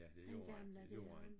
Ja det gjorde han det gjorde han